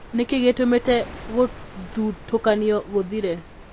Nĩ kĩĩ gĩtũmĩte Gũthutũkanio Gũthire?